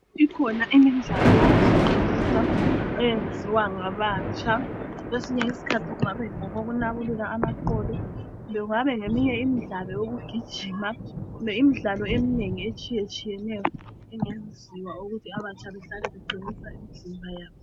Ikhona imidlalo yokuziqinisa eyenziwa ngabatsha. Kwesinye isikhathi kungaba ngokokunabulula amaqolo kumbe kungabe ngeyinye imidlalo yokugijima kumbe imidlalo eminengi etshiyeneyo engenziwa ukuthi abatsha behlale beqinisa imizimba yabo.